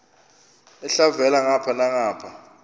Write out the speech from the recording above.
elhavela ngapha nangapha